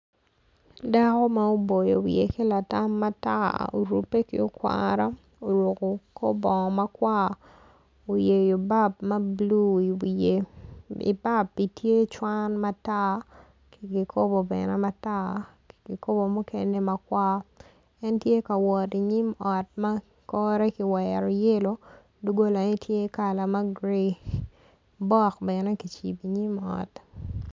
Dako ma oboyon wiye ki latam matar orube ki okwara oruku kor bongo makwar oyeyo bab ma bulu iwiye ibabi tye cwan matar ki gikobo bene matar ki kubo mukene makar en tye ka wot inyim ot ma kore ki wero yelo doggolane tye kala ma guree bok bene kicibo inyim ot